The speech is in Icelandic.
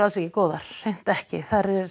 ekki góðar hreint ekki